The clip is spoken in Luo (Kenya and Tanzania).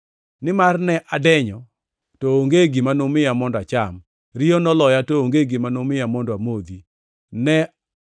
Nimar ne adenyo, to onge gima numiya mondo acham; riyo noloya, to onge gima numiya mondo amodhi;